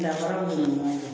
Dafara dɔ de bɛ ɲɔgɔn fɛ